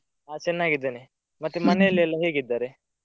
ಆ ಚೆನ್ನಾಗಿದ್ದೇನೆ ಮತ್ತೆ ಮನೆಯಲ್ಲಿ ಎಲ್ಲ ಹೇಗಿದ್ದಾರೆ?